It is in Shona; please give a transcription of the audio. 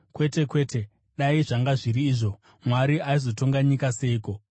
Kwete kwete! Dai zvanga zviri izvo, Mwari aizotonga nyika seiko?